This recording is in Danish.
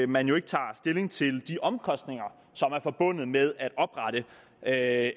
man jo ikke tager stilling til de omkostninger som er forbundet med at